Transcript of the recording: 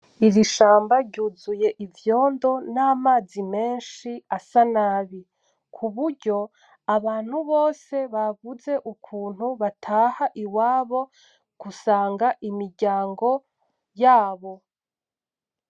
Iri shamba ryuzuye ivyondo n'amazi menshi asa nabi, ku buryo abantu bose babuze ukuntu bataha iwabo gusanga imiryango yabo.